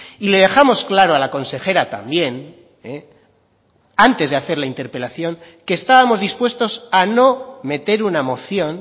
y le dejamos claro a la consejera también antes de hacer la interpelación que estábamos dispuestos a no meter una moción